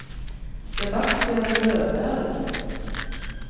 Sebastian Løberg